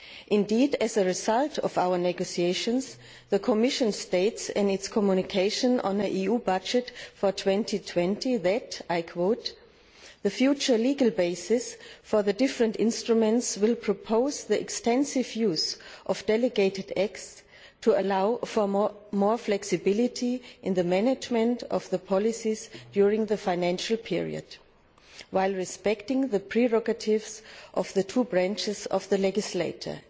Indeed, as a result of our negotiations, the Commission states in its Communication on the EU budget for 2020 that the future legal basis for the different instruments will propose the extensive use of delegated acts to allow for more flexibility in the management of the policies during the financial period, while respecting the prerogatives of the two branches of the legislature'.